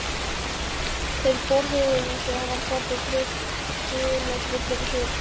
Þeir borðuðu og svo varð pabbi dularfullur á svip.